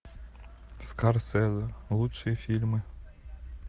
скорсезе лучшие фильмы